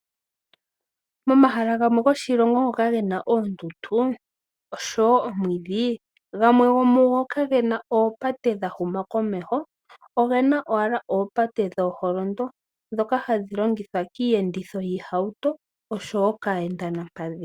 Momahala gamwe goshilongo ngoka ge na oondundu oshowo oomwidhi, gamwe gomugo kage na oopate dha huma komeho. Oge na owala oopate dhooholondo, ndhoka hadhi longithwa kiiyenditho yiihauto osho wo kaayendiyokolupadhi.